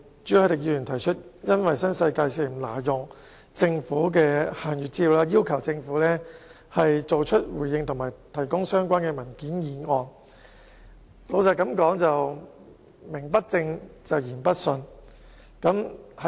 朱凱廸議員以新世界挪用政府限閱資料，要求政府作出回應及提供相關文件為理由，提出今天這項議案。